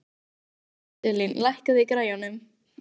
Íselín, lækkaðu í græjunum.